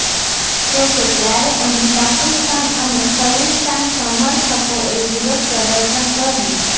જોકે ત્યારે અહીં પાકિસ્તાન અને ખલિસ્તાન સમર્થકોએ વિરોધ પ્રદર્શન કર્યું